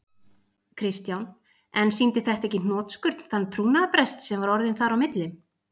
Kristján: En sýndi þetta ekki í hnotskurn þann trúnaðarbrest sem var orðinn þar á milli?